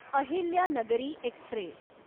Ahilyanagari Express